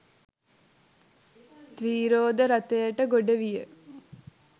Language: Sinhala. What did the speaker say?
ත්‍රීරෝද රථයට ගොඩ විය.